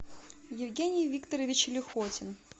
евгений викторович лихотин